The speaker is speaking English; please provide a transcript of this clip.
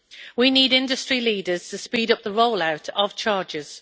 We need industry leaders to speed up the rollout of chargers.